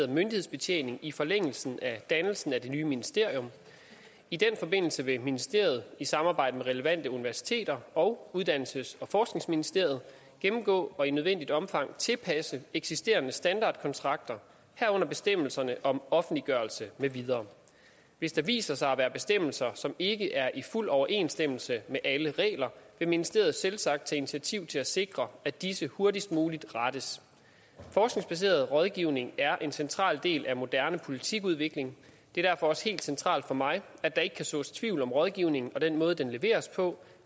myndighedsbetjening i forlængelse af dannelsen af det nye ministerium i den forbindelse vil ministeriet i samarbejde med relevante universiteter og uddannelses og forskningsministeriet gennemgå og i nødvendigt omfang tilpasse eksisterende standardkontrakter herunder bestemmelserne om offentliggørelse med videre hvis der viser sig at være bestemmelser som ikke er i fuld overensstemmelse med alle regler vil ministeriet selvsagt tage initiativ til at sikre at disse hurtigst muligt rettes forskningsbaseret rådgivning er en central del af moderne politikudvikling det er derfor også helt centralt for mig at der ikke kan sås tvivl om rådgivning og den måde den leveres på